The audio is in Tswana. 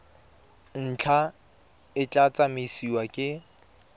ntlha e tla tsamaisiwa ke